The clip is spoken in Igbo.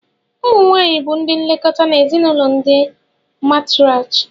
Ụmụ nwanyị bụ ndị nlekọta n'ezinụlọ ndi martriarch